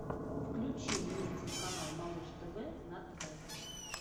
включи мне телеканал малыш тв на тв